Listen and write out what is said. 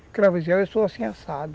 Porque ela vai dizer, eu sou assim assado.